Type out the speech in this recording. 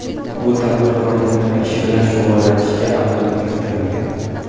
Bu tadbirkor nima ish bilan shug‘ullanishiga aniqlik kiritilmagan.